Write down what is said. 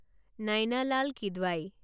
Naina Lal Kidwai